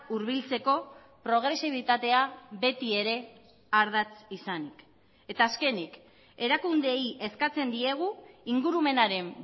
hurbiltzeko progresibitatea beti ere ardatz izanik eta azkenik erakundeei eskatzen diegu ingurumenaren